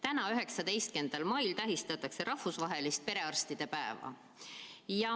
Täna, 19. mail tähistatakse rahvusvahelist perearstide päeva.